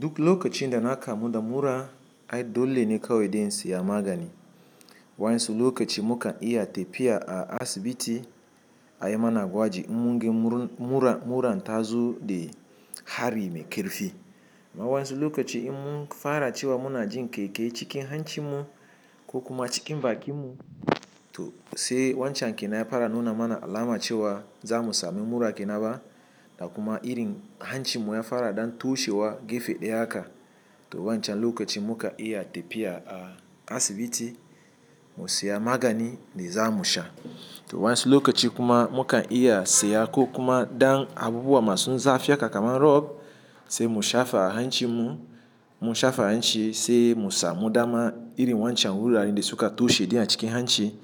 Duk lokacin da na kamuda mura, ai dole ne kawai dai insiya magani. Wa yansu lokaci mukan iya tafiya a asibiti ayi mana gwaji in mun ga muran ta zo da hari me kirfi. Amma wa yansu lokaci in mun fara cewa muna jin kyai-kyai ye cikin hancin mu ko kuma cikin bakin mu, to sai wancan kenan ya fara nuna mana alama cewa za mu sami mura kenaba. Da kuma irin hancin mu ya fara ɗan tushe wa gefe ɗaya haka, to wancan lokaci muka iya tafiya a asibiti mu siya magani da za mu sha. To wa yansu lokaci kuma mukan iya siya ko kuma ɗan abubuwa masu zafi haka kamar rof sai mu sha fa hancin mu. Mu shafa a hancin sai mu samu dama irin wancan wuraren da suka tushe din a cikin hanci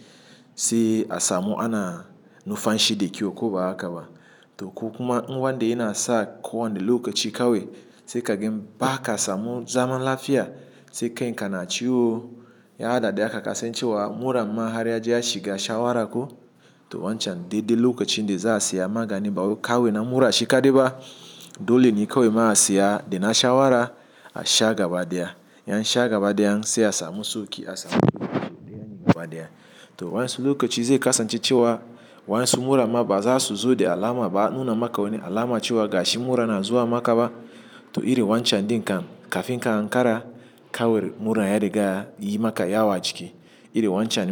sai a samu ana nufanshi da kyau ko ba haka ba. To ko kuma in wanda yana sa ko wani lokaci kawai sai ka ga ba ka samu zaman lafiya sai kai ka na ciwo. Ya hada da haka kasancewa mura ma har yaje ya shiga shawara ko to wancan dai dai lokacin da za a siya magani. Bawai kawai na mura shi ka dai ba dole ne kawai ma a siya da na shawara a sha gaba da ya. In an sha gaba daya sai a samu sauki a samu ɗaya ne gaba da ya. To wa yansu lokaci zai kasance cewa wa yansu mura ma ba za su zo da alama ba a nuna maka wani alama cewa gashi mura na zuwa maka ba. To irin wancan din kam kafin ka Ankara kawai mura ya riga yayi maka yawa ciki. Iri wancan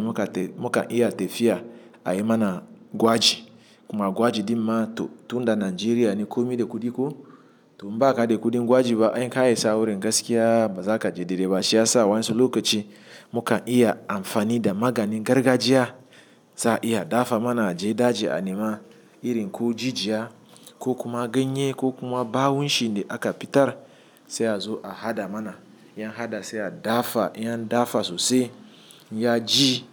muka iya tafiya ayi mana gwaji kuma gwaji din ma to tun da Najeriya ne ko mai da kudi ko to in ba ka da kudin gwaji ba in ka isa wurin gaskiya ba za ka je dai dai ba. Shi yasa wa yansu lokaci mukan iya amfani da maganin gargajiya za a iya dafa mana a je daji a nima irin ko jijiya ko kuma ganye ko kuma bawun shi da aka fitar sai a zo a hada mana. In an hada sai a dafa in an dafa sosai ya ji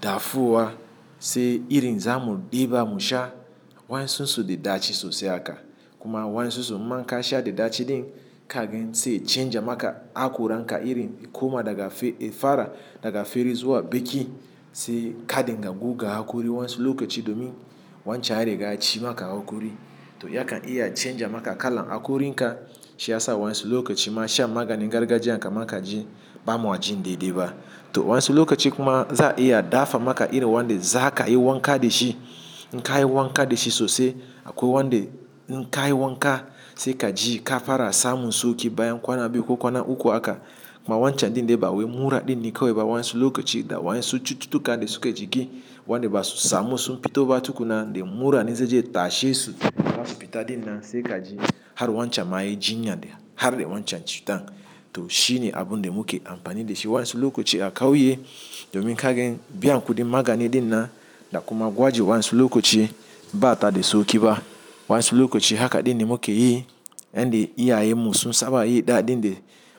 dafuwa sai irin za mu ɗiba mu sha wa yansun su da ɗaci sosai haka. Kuma wa yansun su man ka sha da ɗaci din ka gen sai canja maka akuran ka irin kuma daga fara daga feri zuwa baki sai kadinga guga hakuri wa yansu lokaci domin wancan ya riga ya ci maka hakuri. To ya kan iya canja maka kalan hakuri ka. Shi yasa wa yansu lokaci ma sha maganin gargajiyan kama ka ji bama jin dai dai ba. To wa yansu lokaci kuma za a iya dafa maka irin wanda za ka yi wanka da shi. In ka yi wanka da shi sosai akwai wanda in ka yi wanka sai ka ji ka fara samun sauki bayan kwana biyu ko kwana uku haka. Ma wancan din dai ba wai mura din ne kawai ba wa yansu lokaci da wa yansu cututtuka dai suke jiki wanda ba su samu sun fita ba tukuna. Da mura ne zai je ya tashe su da za su fita din nan sai ka ji har wancan ma ya jinya dai har da wancan cutan. To shi ne abun da muke amfani da shi wani su lokaci a kauye domin kaga biyan kudin magani din nan da kuma gwaji wa yansu lokaci ba ta da sauki ba. Wa yansu lokaci haka din ne muke yi yanda iyayanmu sun saba yi daɗin dai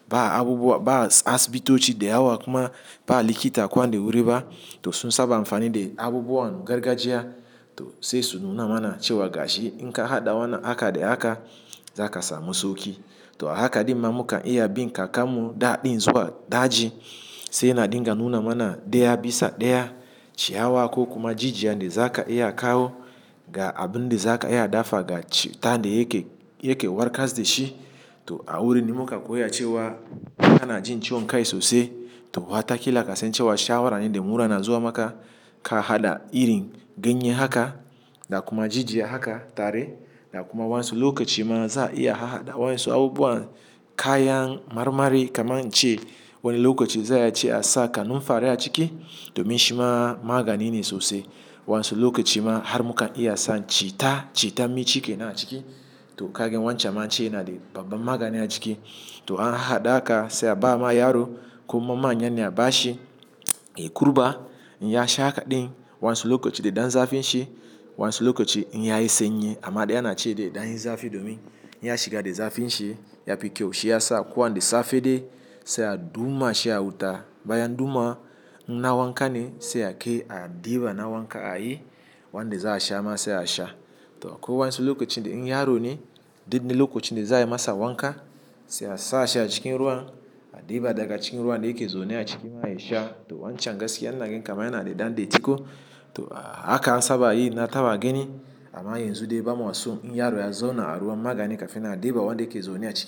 ba abubuwa ba asibitoci dai haka kuma ba likita kwan dai wuri ba. To sun saba amfani da abubuwan gargajiya to sai su nuna mana cewa gashi in ka haɗa wannan haka da haka za ka samu sauki. To haka din ma mukan iya bin ka kamu daɗin zuwa daji sai yana dinga nuna mana ɗaya bisa ɗaya ciyawa ko kuma jijiya dai za ka iya kawo ga abun dai za ka iya dafa ga cutan dai yake yake warkas da shi. To a wurin ne muka koya cewa ka na jin ciwon kai sosai to wataƙila kasancewa shawara ne da mura na zuwa maka ka haɗa irin ganye haka da kuma jijiya haka tare. Ga kuma wani su lokaci ma za a iya haɗa wani su abubuwan kayan marmari kamar in ce wani lokaci za a iya ce a sa kanunfari a ciki domin shi ma magani ne sosai. Wa yansu lokaci ma har mukan iya sa citta citta mai cike na a ciki to ka gen wancan an ce yana da babban magani a ciki. To an haɗa haka sai a ba ma yaro ko mama'n yana ba shi in ya kurɓa in ya sha kadan din wani su lokaci dai dan zafi shi wani su lokaci in ya yi sanyi. Amma dai ana ce dai dan zafi domin in ya shiga dai zafin shi ya fi kyau. Shi yasa a ko wani dai safe dai sai a duma shi a wuta bayan duma inna wanka ne sai a kai a ɗiba na wanka a yi wanda za a sha ma sai a sha. To akwai wa yansu lokaci dai in yaro ne dai dik lokacin da za a masa wanka sai a sa shi a cikin ruwa a ɗiba daga cikin ruwa dai yake zaune a cikin maha shi sha. To wancan gaskiya ina ga kaman yana dai dan datti ko to a haka an saba yi na taba gini amma yanzu dai bam wasu in yaro ya zauna a ruwan magani kafin a ɗiba wanda yake zaune a ciki.